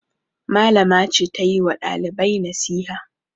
Malama ce ta yi wa ɗalibai nasiha.